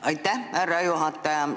Aitäh, härra juhataja!